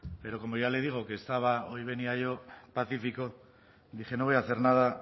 pero como ya le digo que estaba hoy venía yo pacífico dije no voy a hacer nada